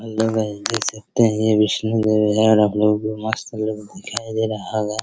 Hello guys देख सकते हैं ये विष्णु घर है और अब लोग मस्त लोग दिखाई दे रहा होगा।